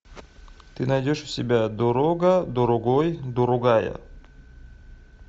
ты найдешь у себя дорога дорогой дорогая